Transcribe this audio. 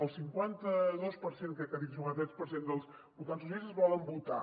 el cinquanta dos per cent crec que ha dit o cinquanta tres per cent dels votants socialistes volen votar